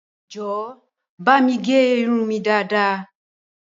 Jọ̀wọ́ bámi gẹ irun mi dáadaa!